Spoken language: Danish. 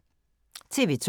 TV 2